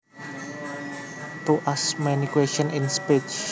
To ask many questions in speech